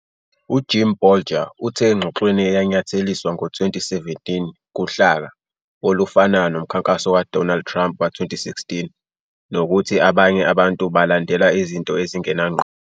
UJim Bolger uthe engxoxweni eyanyatheliswa ngo-2017 "kuhlaka" olufanayo nomkhankaso kaDonald Trump ka-2016, nokuthi "abanye abantu balandela izinto ezingenangqondo".